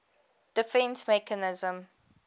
defence mechanism